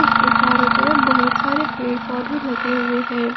उसके चारों तरफ बहुत सारे पेड़ पौधे लगे हुए हैं।